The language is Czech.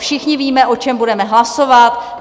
Všichni víme, o čem budeme hlasovat?